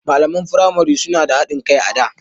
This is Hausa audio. Malaman firamai suna da haɗin kai a da.